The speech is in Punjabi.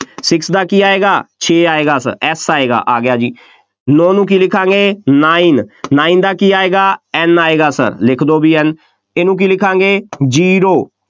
six ਦਾ ਕੀ ਆਏਗਾ, ਛੇ ਆਏਗਾ S ਆਏਗਾ, ਆ ਗਿਆ ਜੀ, ਨੌ ਨੂੰ ਕੀ ਲਿਖਾਂਗੇ nine nine ਦਾ ਕੀ ਆਏਗਾ, N ਆਏਗਾ, ਲਿਖ ਦਿਓ ਬਈ N ਇਹਨੂੰ ਕੀ ਲਿਖਾਂਗੇ zero